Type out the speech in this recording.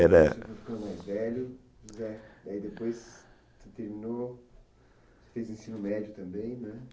Era... mais velho, depois você terminou, fez ensino médio também, né?